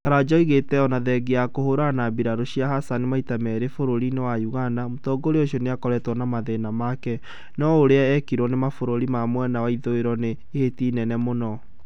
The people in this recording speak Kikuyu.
Karanja oigĩte ona thengia ya kũhũrana na birarũ cia Hassan maita merĩ bũrũri-inĩ wa Uganda, mũtongoria ũcio nĩakoretwo na mathĩna make, no ũrĩa ekirwo nĩ mabũrũri ma mwena wa ithũĩro nĩ ihĩtia inene mũno